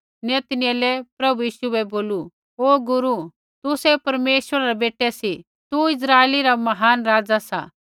नतनऐले प्रभु यीशु बै बोलू हे गुरू तुसै परमेश्वरा रै बेटै सी तू इस्राइला रा महान राज़ा सा